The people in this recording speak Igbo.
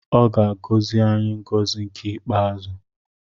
Ọ ga-agọzi anyị ngọzi nke ikpeazụ.